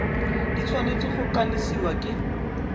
di tshwanetse go kanisiwa ke